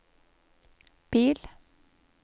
bil